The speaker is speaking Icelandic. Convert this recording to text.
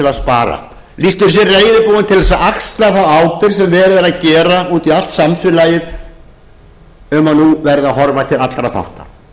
að spara til að axla þá ábyrgð sem verið er að gera úti um allt samfélagið um að nú verði að horfa til allra þátta